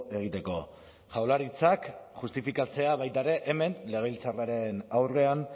egiteko jaurlaritzak justifikatzea baita ere hemen legebiltzarraren aurrean